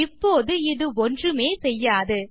இப்போது இது ஒன்றுமே செய்யாது